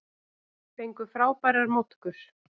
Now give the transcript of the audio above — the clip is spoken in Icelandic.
Fengu frábærar móttökur